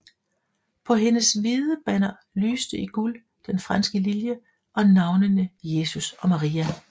På hendes hvide banner lyste i guld den franske lilje og navnene Jesus og Maria